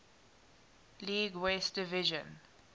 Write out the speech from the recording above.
league west division